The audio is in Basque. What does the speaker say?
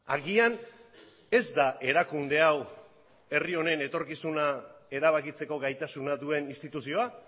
agian ez da erakunde hau herri honen etorkizuna erabakitzeko gaitasuna duen instituzioa